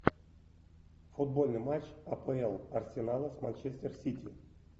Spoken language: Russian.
футбольный матч апл арсенала с манчестер сити